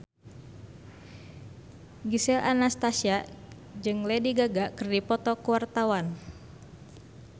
Gisel Anastasia jeung Lady Gaga keur dipoto ku wartawan